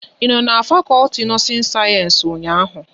Ị no n'fakolti nọọsin sayensị ụnyaahụ?